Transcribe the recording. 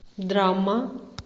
драма